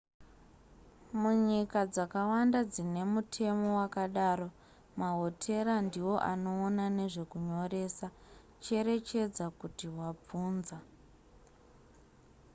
munyika dzakawanda dzine mutemo wakadaro mahotera ndiwo anoona nezvekunyoresa cherechedza kuti wavhunza